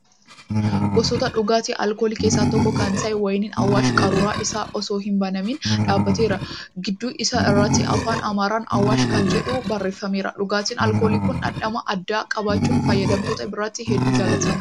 Gosoota dhugaatii alkoolii keessa tokko kan ta'e wayiiniin Awwaash qaruura isaa osoo hin banamin dhaabateera. Gidduu isaa irratti Afaan Amaaraan 'Awwash' kan jedhu barraa'eeera. Dhugaatiin alkoolii kun dhamdhama addaa qabaachuun fayyadamtoota biratti heddu jaalatamaadha.